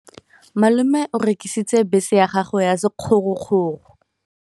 Malome o rekisitse bese ya gagwe ya sekgorokgoro.